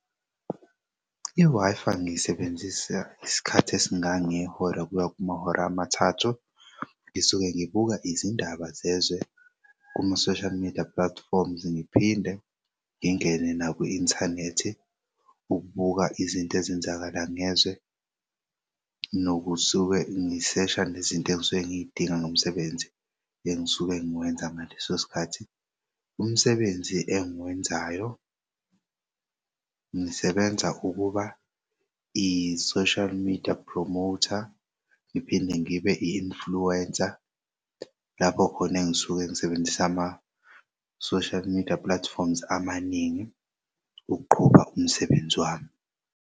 I-Wi-Fi ngiyisebenzisa isikhathi esingangehora kuya kumahora amathathu. Ngisuke ngibuka izindaba zezwe kuma-social media platform, ngiphinde ngingene nakwi inthanethi ukubuka izinto ezenzakalayo ngezwe nokusuke ngisesha nezinto engisuke ngidinga ngokomsebenzi engisuke nguwenza ngaleso sikhathi. Umsebenzi engiwenzayo ngisebenza ukuba i-social media promoter ngiphinde ngibe i-influencer lapho khona engisuke ngisebenzisa ama social-media platforms amaningi ukuqhuba umsebenzi wami.